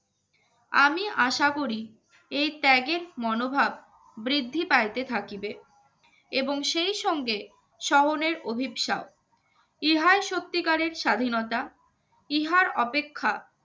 আমি আশা করি এই ত্যাগের মনোভাব বৃদ্ধি পাইতে থাকিবে এবং সেই সঙ্গে শহরের অভিশাপ ইহা সত্তিকারের স্বাধীনতা ইহার অপেক্ষা